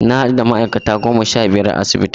Na hadu da ma'aikata goma sha biyar a asibitin.